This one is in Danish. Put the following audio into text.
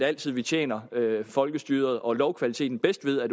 altid tjener folkestyret og lovkvaliteten bedst ved at